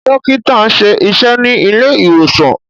Dókítà nṣe iṣé ní ilé ìwòsàn.